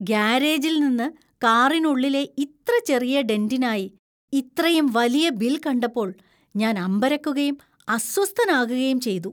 ഗാരേജിൽ നിന്ന് കാറിനുള്ളിലെ ഇത്ര ചെറിയ ഡെന്‍റിനായി ഇത്രയും വലിയ ബിൽ കണ്ടപ്പോൾ ഞാൻ അമ്പരക്കുകയും അസ്വസ്ഥനാകുകയും ചെയ്തു.